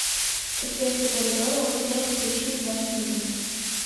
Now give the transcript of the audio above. подсветка коридора у стен включи на двадцать минут